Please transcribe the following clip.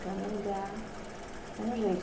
Cada lugar é um jeito.